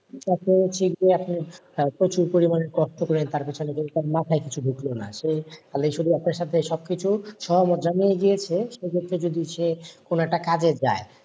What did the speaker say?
প্রচুর পরিমাণে তথ্য তার পেছনে কিন্তু তার মাথায় কিছু ঢুকলো সে সে ক্ষেত্রে যদি সে কোনো একটা কাজে যাই,